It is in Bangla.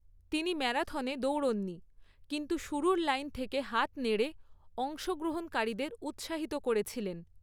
তিনি ম্যারাথনে দৌড়ননি, কিন্তু শুরুর লাইন থেকে হাত নেড়ে অংশগ্রহণকারীদের উৎসাহিত করেছিলেন।